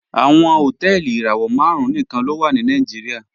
Awọn hotẹẹli irawọ màrùn níkan ló wà ní Nàìjíríà